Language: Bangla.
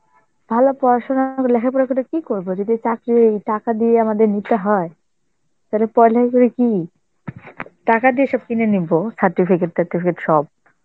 ভালো পড়াশোনা লেখাপড়া করে কি করব যদি এই চাকরি টাকা দিয়ে আমাদের নিতে হয়, তাহলে কি, টাকা দিয়ে সব কিনে নিব certificate টার্টিফিকেট সব.